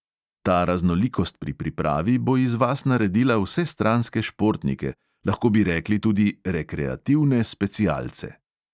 Ta raznolikost pri pripravi bo iz vas naredila vsestranske športnike, lahko bi rekli tudi rekreativne specialce.